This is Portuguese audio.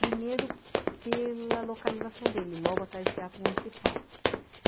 Primeiro pela localização dele, logo atrás do Teatro Municipal.